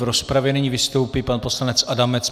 V rozpravě nyní vystoupí pan poslanec Adamec.